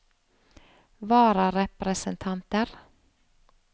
vararepresentanter